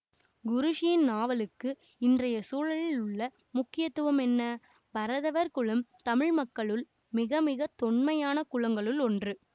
குரூஸின் நாவலுக்கு இந்றைய சூழலில் உள்ள முக்கியத்துவம் என்ன பரதவர் குலம் தமிழ்மக்களுள் மிகமிக தொன்மையான குலங்களுள் ஒன்று